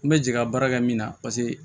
N bɛ jigin ka baara kɛ min na paseke